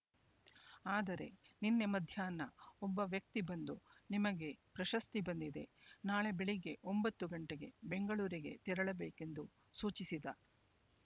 ಆದರೆ ನಿನ್ನೆ ಮಧ್ಯಾಹ್ನ ಒಬ್ಬ ವ್ಯಕ್ತಿ ಬಂದು ನಿಮಗೆ ಪ್ರಶಸ್ತಿ ಬಂದಿದೆ ನಾಳೆ ಬೆಳಿಗ್ಗೆ ಒಂಬತ್ತು ಗಂಟೆಗೆ ಬೆಂಗಳೂರಿಗೆ ತೆರಳಬೇಕೆಂದು ಸೂಚಿಸಿದ